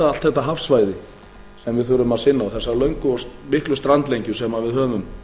allt þetta hafsvæði er við þurfum að sinna og þessa löngu og miklu strandlengju sem við höfum